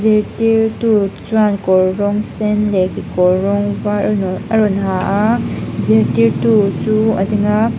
zirtirtu chuan kawr rawng sen leh kekawr rawng var a raw a rawn ha a zirtirtu chu a ding a.